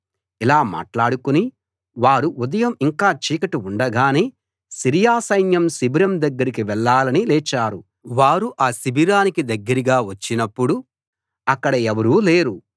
ఇలా మాట్లాడుకుని వారు ఉదయం ఇంకా చీకటి ఉండగానే సిరియా సైన్య శిబిరం దగ్గరికి వెళ్లాలని లేచారు వారు ఆ శిబిరానికి దగ్గరగా వచ్చినప్పుడు అక్కడ ఎవరూ లేరు